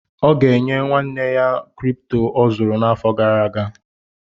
Ọ ga-enye nwanne ya kịrịpụtọ ọ zụrụ n’afọ gara aga